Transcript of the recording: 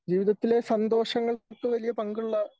ജീവിതത്തിലെ സന്തോഷങ്ങൾക്ക് വലിയ പങ്കുള്ള